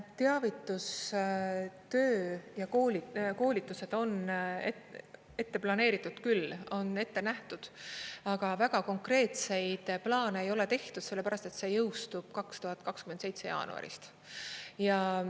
Teavitustöö ja koolitused on ette planeeritud küll, on ette nähtud, aga väga konkreetseid plaane ei ole tehtud, sellepärast et see jõustub 2027 jaanuarist.